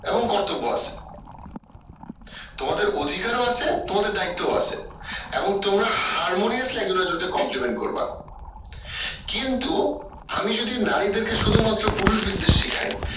এবং কর্তব্য আছে তোমাদের অধিকার ও আছে তোমাদের দায়িত্ব ও আছে এবং তোমার harmoniously একজন আরেকজনকে compliment করবা কিন্তু আমি যদি নারীদের কে শুধু মাত্র পুরুষ বিদ্বেষ শিখাই